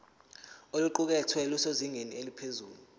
oluqukethwe lusezingeni eliphezulu